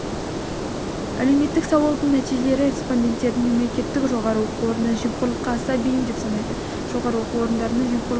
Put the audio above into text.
әлеуметтік сауалдың нәтижелері респонденттердің мемлекеттік жоғары оқу орындарын жемқорлыққа аса бейім деп санайды жоғары оқу орындарында жемқорлықтың